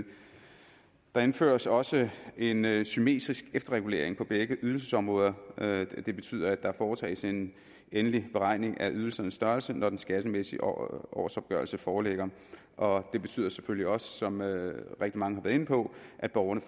der indføres også en en symmetrisk efterregulering på begge ydelsesområder det betyder at der foretages en endelig beregning af ydelsernes størrelse når den skattemæssige årsopgørelse foreligger og det betyder selvfølgelig også som rigtig mange har været inde på at borgerne